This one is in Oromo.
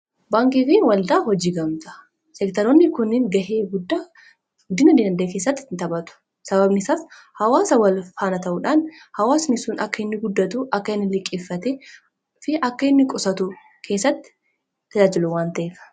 Baankii fi waldaa hojii gamtaa seektaroonni kunniin gahee guddaa guddina diinagdee keessatti nitaphatu. Sababnisaas hawaasa wal faana ta'uudhaan hawaasnisun akka inni guddatu akka inni liqeeffatee fi akka inni qusatu keessatti tajaajilu waanta'eefi.